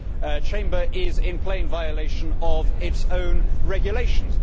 This Chamber is in plain violation of its own regulations.